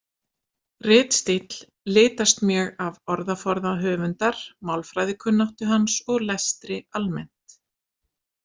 Ritstíll litast mjög af orðaforða höfundar, málfræðikunnáttu hans og lestri almennt.